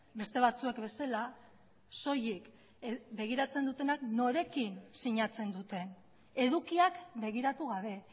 beste batzuek bezala soilik begiratzen dutenak norekin sinatzen duten edukiak begiratu gabe